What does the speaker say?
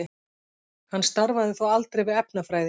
Hann starfaði þó aldrei við efnafræði.